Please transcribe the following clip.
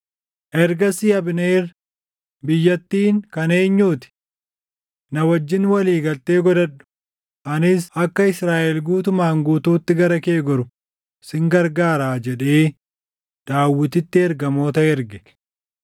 Ergasii Abneer, “Biyyattiin kan eenyuu ti? Na wajjin walii galtee godhadhu; anis akka Israaʼel guutumaan guutuutti gara kee goru sin gargaaraa” jedhee Daawititti ergamoota erge.